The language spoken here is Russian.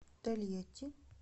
тольятти